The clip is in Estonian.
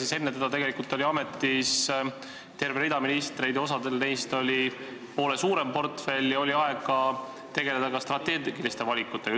Aga enne teda oli selles ametis terve rida ministreid ja osal neist oli poole suurem portfell, ent ikkagi oli neil aega tegeleda ka strateegiliste valikutega.